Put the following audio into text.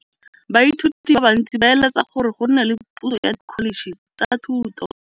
Baithuti ba bantsi ba eletsa gore go nne le pusô ya Dkholetšhe tsa Thuto.